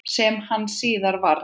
Sem hann síðar varð.